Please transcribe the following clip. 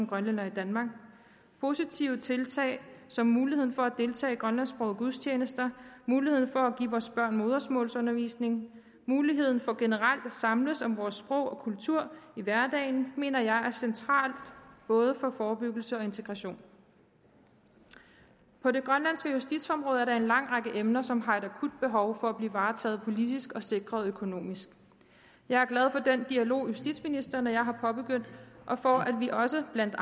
grønlændere i danmark positive tiltag som muligheden for at deltage i grønlandsksprogede gudstjenester muligheden for at give vores børn modersmålsundervisning muligheden for generelt at samles om vores sprog og kultur i hverdagen mener jeg er centrale for både forebyggelse og integration på det grønlandske justitsområde er der en lang række emner som har et akut behov for at blive varetaget politisk og sikret økonomisk jeg er glad for den dialog justitsministeren og jeg har påbegyndt og for at vi også i blandt